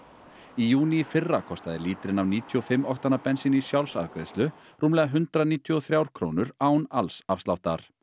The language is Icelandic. í júní í fyrra kostaði lítrinn af níutíu og fimm oktana bensíni í sjálfsafgreiðslu rúmlega hundrað níutíu og þrjár krónur án alls afsláttar